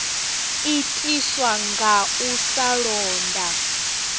itiswa nga u sa londa